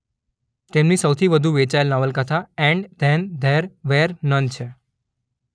તેમની સૌથી વધુ વેચાયેલ નવલકથા and then there were none છે